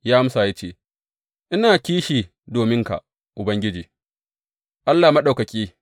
Ya amsa, ya ce, Ina kishi dominka Ubangiji, Allah Maɗaukaki.